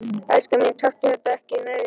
Elskan mín, taktu þetta ekki nærri þér.